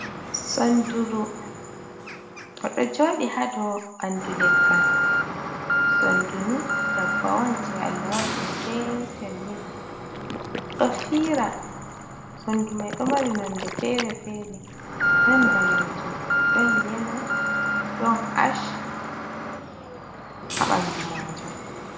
Sonnduru ɗo jooɗi haa dow banndu leggal, sonndu nii dabbawa on jey Allah waɗi ɗum ɗo fiira, sonndu mai ndu ɗo mari nonde feere-feere, ɗon daneejum ɗon yela ɗon ash haa ɓanndu maajum.